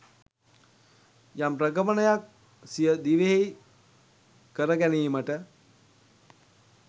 යම් ප්‍රගමනයක් සිය දිවියෙහි කර ගැනීමට